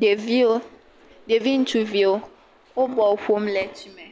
Ɖeviwo. Ɖevi ŋutsuviwo wo bɔl ƒom le tsi me.